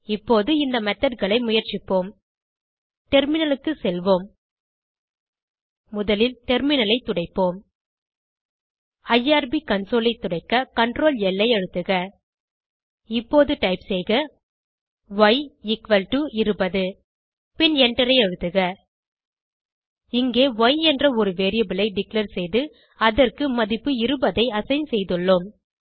இப்போது இந்த methodகளை முயற்சிப்போம் டெர்மினலுக்கு செல்வோம் முதலில் டெர்மினலை துடைப்போம் ஐஆர்பி கன்சோல் ஐ துடைக்க Ctrl ல் ஐ அழுத்துக இப்போது டைப் செய்க ய் எக்குவல் டோ 20 பின் எண்டரை அழுத்துக இங்கே ய் என்ற ஒரு வேரியபிள் ஐ டிக்ளேர் செய்து அதற்கு மதிப்பு 20 ஐ அசைன் செய்துள்ளோம்